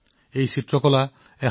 সময়ৰ লগে লগে এই চিত্ৰ ম্লান হৈ গৈছিল